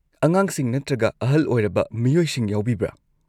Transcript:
ꯑꯉꯥꯡꯁꯤꯡ ꯅꯠꯇ꯭ꯔꯒ ꯑꯍꯜ ꯑꯣꯏꯔꯕ ꯃꯤꯑꯣꯏꯁꯤꯡ ꯌꯥꯎꯕꯤꯕ꯭ꯔꯥ?